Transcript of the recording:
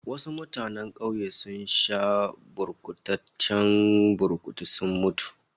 Wasu mutanen kauye sun sha gurbataccen burkutu sun mutu